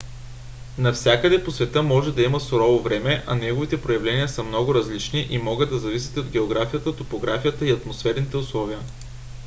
нявсякъде по света може да има сурово време а неговите проявления са много различни и могат да зависят от географията топографията и атмосферните условия